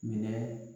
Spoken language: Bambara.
Minɛ